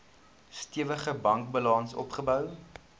stewige bankbalans opgebou